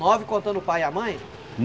Nove contando o pai e a mãe?